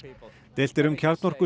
deilt er um